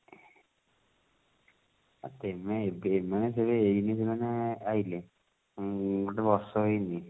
ଆ କେବେ ଏବେ ଦେଖିଥିବୁ ନା ଏଇଠି ସେମାନେ ଆଇଲେ ଉଁ ଗୋଟେ ବର୍ଷ ହେଇନି